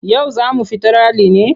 Yau za mu fita rali ne?